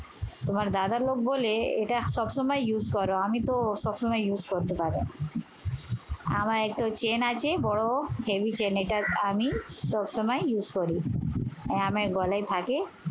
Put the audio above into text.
তোমার দাদার লোক বলে এইটা সবসময় use আমিতো সবসময় use করতে পারি না। আমার একটা chain আছে বড়, heavy chain এটা আমি সবসময় use করি। এ আমার গলায় থাকে।